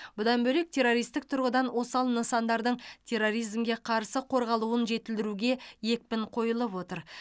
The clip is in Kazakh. бұдан бөлек террористік тұрғыдан осал нысандардың терроризмге қарсы қорғалуын жетілдіруге екпін қойылып отыр